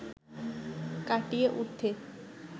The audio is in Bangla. কাটিয়ে উঠতে